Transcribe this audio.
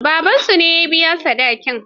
Babansu ne ya biya sadakin.